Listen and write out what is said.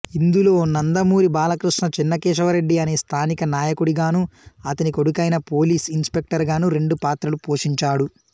ఇందులో నందమూరి బాలకృష్ణ చెన్నకేశవరెడ్డి అనే స్థానిక నాయకుడిగాను అతని కొడుకైన పోలీస్ ఇనస్పెక్టర్ గాను రెండు పాత్రలు పోషించాడు